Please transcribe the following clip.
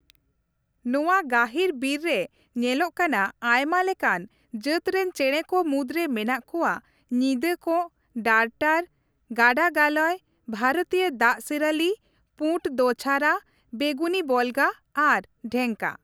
ᱱᱚᱣᱟ ᱜᱟᱹᱦᱤᱨ ᱵᱤᱨ ᱨᱮ ᱧᱮᱞᱚᱜ ᱠᱟᱱᱟ ᱟᱭᱢᱟ ᱞᱮᱠᱟᱱ ᱡᱟᱹᱛᱨᱮᱱ ᱪᱮᱬᱮ ᱠᱚ ᱢᱩᱫᱽᱨᱮ ᱢᱮᱱᱟᱜ ᱠᱚᱣᱟ ᱧᱤᱫᱟᱹ ᱠᱚᱸᱜ, ᱰᱟᱨᱴᱟᱨ, ᱜᱟᱰᱟ ᱜᱟᱞᱚᱭ, ᱵᱷᱟᱨᱚᱛᱤᱭᱚ ᱫᱟᱜ ᱥᱤᱨᱟᱹᱞᱤ, ᱯᱩᱰ ᱫᱳᱪᱷᱟᱨᱟ, ᱵᱮᱜᱩᱱᱤ ᱵᱚᱞᱜᱟ ᱟᱨ ᱰᱮᱝᱠᱟ ᱾